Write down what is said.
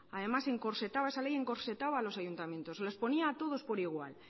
además encorsetaba esa ley encorsetaba a los ayuntamientos los ponía a todos por igual